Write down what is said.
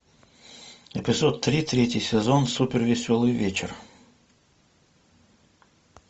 эпизод три третий сезон супер веселый вечер